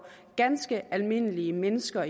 ganske almindelige mennesker